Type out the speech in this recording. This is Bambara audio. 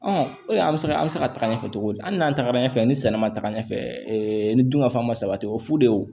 o de an bɛ se ka an bɛ se ka taga ɲɛfɛ cogo di hali n'an tagara ɲɛfɛ ni sɛnɛ ma taa ɲɛfɛ ni dunkafan ma sabati o fu de ye wo